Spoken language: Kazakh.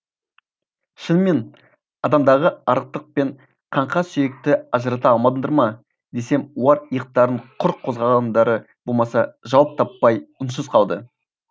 шынымен адамдағы арықтық пен қаңқа сүйекті ажырата алмадыңдар ма десем олар иықтарын құр қозғағандары болмаса жауап таппай үнсіз қалды